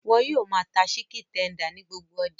Wọ́n yóò máa ta síkìn tender ní gbogbo ọjà